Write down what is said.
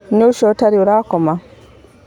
Nũu ũcio ũtarĩ ũrakoma?